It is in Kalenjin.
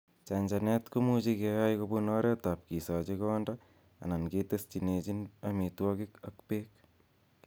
Chanchanet kimuche keyai kobun oretab kisochi konda anan ketesyinechin amitwogik ak beek.